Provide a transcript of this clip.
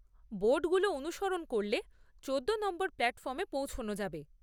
বোর্ডগুলো অনুসরণ করলে চোদ্দো নম্বর প্ল্যাটফর্মে পৌঁছে যাবেন।